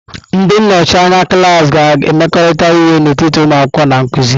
Ndị nnọchi anya klaasị ga-emekọrịta ihe n'etiti ụmụ akwụkwọ na nkuzi.